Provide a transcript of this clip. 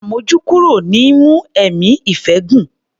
Àmójúkúrò ni í mú ẹ̀mí ìfẹ́ gùn.